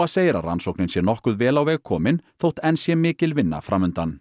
segir að rannsóknin sé nokkuð vel á veg komin þótt enn sé mikil vinna fram undan